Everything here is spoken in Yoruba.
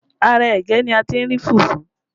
Ara ẹ̀gẹ́ ni a ti rí fufu